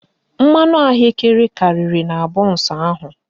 Mmanụ ahụekere karịrị na bọnsụ ahụ